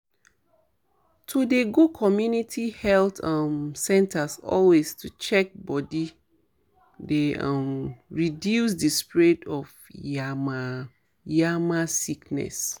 to dey go community health um centres always to check body dey um reduce di spread of yama um yama sickness